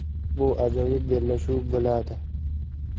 Bu ajoyib bellashuv bo‘ladi.